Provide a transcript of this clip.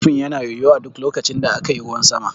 Rufin yana yoyo a duk lokacin da aka yi ruwan sama.